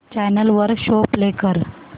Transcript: channel वर show play कर